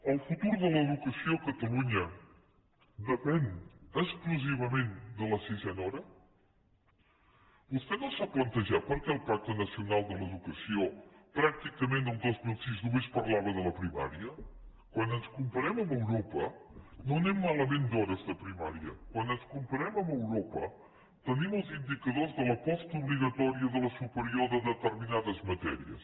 el futur de l’educació a catalunya depèn exclusivament de la sisena hora vostè no s’ha plantejat per què el pacte nacional per a l’educació pràcticament el dos mil sis només parlava de la primària quan ens comparem amb europa no anem malament d’hores de primària quan ens comparem amb europa tenim els indicadors de la postobligatòria i de la superior de determinades matèries